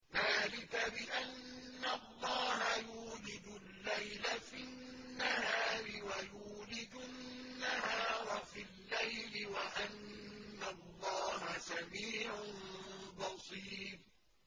ذَٰلِكَ بِأَنَّ اللَّهَ يُولِجُ اللَّيْلَ فِي النَّهَارِ وَيُولِجُ النَّهَارَ فِي اللَّيْلِ وَأَنَّ اللَّهَ سَمِيعٌ بَصِيرٌ